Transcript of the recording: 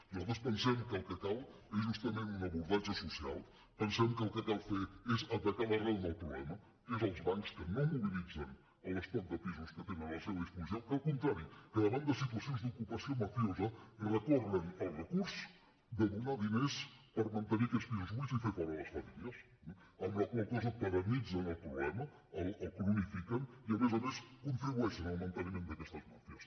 nosaltres pensem que el que cal és justament un abordatge social pensem que el que cal fer és atacar l’arrel del problema que són els bancs que no mobilitzen l’estoc de pisos que tenen a la seva disposició que al contrari davant de situacions d’ocupació mafiosa recorren al recurs de donar diners per mantenir aquests pisos buits i fer fora les famílies eh amb la qual cosa perennitzen el problema el cronifiquen i a més a més contribueixen al manteniment d’aquests màfies